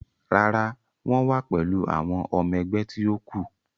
Rárá, wọ́n wa pẹ̀lú àwọn ọmọ ẹgbẹ́ ti ó kù.